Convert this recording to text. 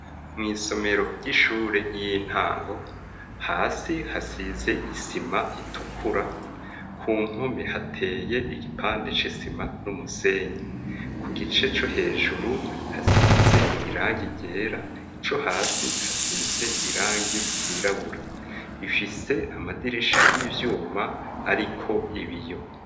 Mw'isomero ry'ishure y'intango, hasi hasize isima itukura, ku mpume hateye igipande c'isima n'umusenyi, kugice co hejuru hasize irangi ryera ico hasi hasize irangi ryirabura, ifise amadiri isha y'ivyuma, ariko ibiyo.